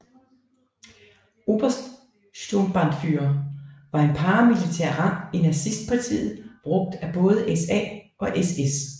Obersturmbannführer var en paramilitær rang i Nazistpartiet brugt af både SA og SS